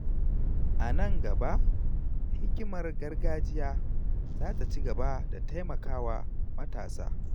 A nan gaba, hikimar gargajiya za ta ci gaba da taimaka wa matasa.